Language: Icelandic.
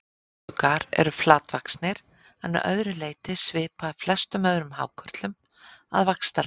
Hvítuggar eru flatvaxnir en að öðru leyti svipaðir flestum öðrum hákörlum að vaxtarlagi.